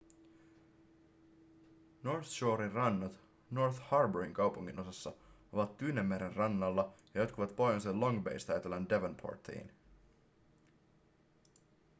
north shoren rannat north harbourin kaupunginosassa ovat tyynenmeren rannalla ja jatkuvat pohjoisen long baysta etelän devonportiin